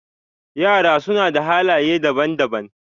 Yara suna da halaye daban-daban.